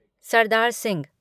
Sardar Singh